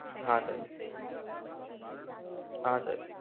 હા સર. હા સર.